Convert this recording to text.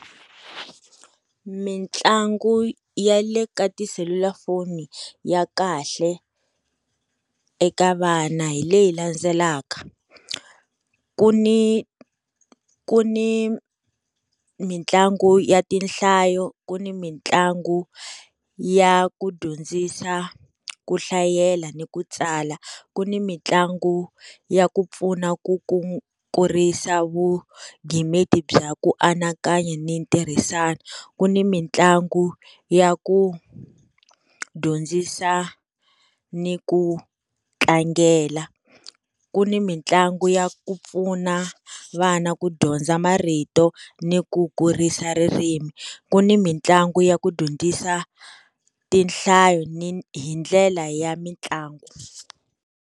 Mitlangu ya le ka tiselulafoni ya kahle eka vana hi leyi landzelaka, ku ni ku ni mitlangu ya tinhlayo, ku ni mitlangu ya ku dyondzisa ku hlayela ni ku tsala, ku ni mitlangu ya ku pfuna ku ku kurisa vugimeti bya ku anakanya ni ntirhisano, ku ni mitlangu ya ku dyondzisa ni ku tlangela, ku ni mitlangu ya ku pfuna vana ku dyondza marito ni ku kurisa ririmi, ku ni mitlangu ya ku dyondzisa tinhlayo ni hi ndlela ya mitlangu.